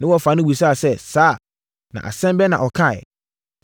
Ne wɔfa no bisaa sɛ, “Saa? Na asɛm bɛn na ɔkaeɛ?”